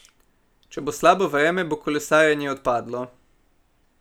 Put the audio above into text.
Če bo slabo vreme, bo kolesarjenje odpadlo.